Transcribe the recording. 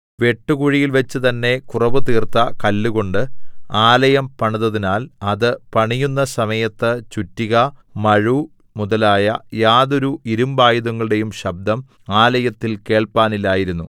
വെട്ടുകുഴിയിൽവെച്ച് തന്നേ കുറവുതീർത്ത കല്ലുകൊണ്ട് ആലയം പണിതതിനാൽ അത് പണിയുന്ന സമയത്ത് ചുറ്റിക മഴു മുതലായ യാതൊരു ഇരിമ്പായുധങ്ങളുടേയും ശബ്ദം ആലയത്തിൽ കേൾപ്പാനില്ലായിരുന്നു